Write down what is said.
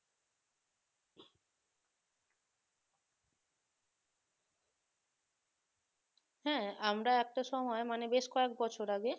হ্যাঁ আমরা একটা সময় মানে বেশ কয়েক বছর আগে